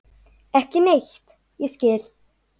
Ekki neitt ég skil.